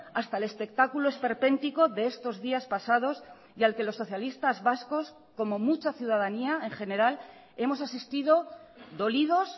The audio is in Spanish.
hasta el espectáculo esperpéntico de estos días pasados y al que los socialistas vascos como mucha ciudadanía en general hemos asistido dolidos